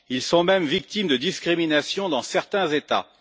Ils sont même victimes de discriminations dans certains États.